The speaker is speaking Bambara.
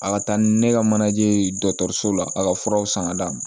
A ka taa ni ne ka manaje dɔgɔtɔrɔso la a ka furaw sanga d'a ma